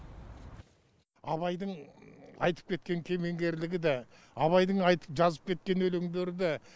абайдың айтып кеткен кемеңгерлігі де абайдың айтып жазып кеткен өлеңдері де